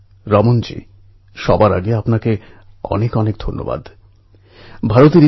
সন্তোষজী আপনার ফোনের জন্য অনেক অনেক ধন্যবাদ সত্যিই পণ্ঢরপুরের